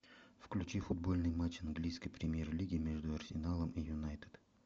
включи футбольный матч английской премьер лиги между арсеналом и юнайтед